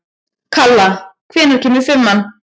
Kalla, hvenær kemur fimman?